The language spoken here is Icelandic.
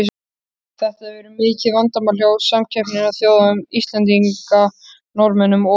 Þetta hefur verið mikið vandamál hjá samkeppnisþjóðum Íslendinga, Norðmönnum og